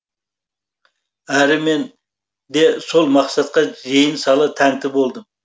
әрі мен де сол мақсатқа зейін сала тәнті болдым